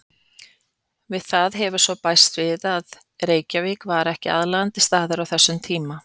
Við það hefur svo bæst að Reykjavík var ekki aðlaðandi staður á þessum tíma.